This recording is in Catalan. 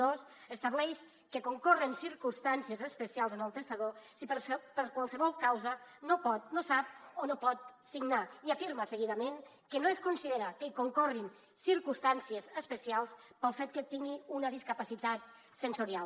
dos estableix que concorren circumstàncies especials en el testador si per qualsevol causa no pot no sap o no pot signar i afirma seguidament que no es considera que hi concorrin circumstàncies especials pel fet que tingui una discapacitat sensorial